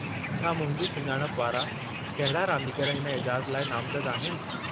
छा मुंहिंजी सुञाणप वारा कहिड़ा रांदीगर हिन एजाज़ लाइ नामज़द आहिनि?